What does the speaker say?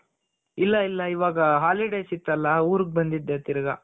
ಇಲ್ಲ ಇಲ್ಲ ಇವಾಗ holidays ಇತ್ತಲ ಊರಿಗ್ ಬಂದಿದ್ದೆ ತಿರ್ಗ